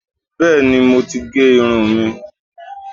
Bẹ́ẹ̀ni, mo ti gé irun mi